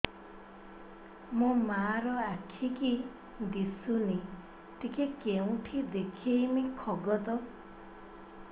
ମୋ ମା ର ଆଖି କି ଦିସୁନି ଟିକେ କେଉଁଠି ଦେଖେଇମି କଖତ